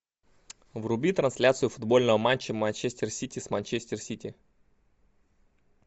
вруби трансляцию футбольного матча манчестер сити с манчестер сити